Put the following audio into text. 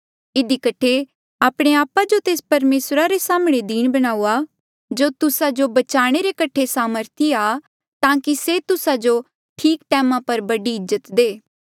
इधी कठे आपणे आपा जो तेस परमेसरा रे साम्हणें दीन बणाऊआ जो तुस्सा जो बचाणे रे कठे सामर्थी आ ताकि से तुस्सा जो ठीक टैमा पर बड़ी इज्जत दे